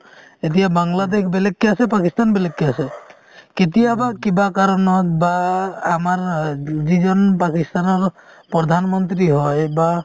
এতিয়া বাংলাদেশ বেলেগকে আছে পাকিস্তান বেলেগকে আছে কেতিয়াবা কিবা কাৰণত বা আমাৰ অ যিজন পাকিস্তানৰ প্ৰধানমন্ত্ৰী হয় বা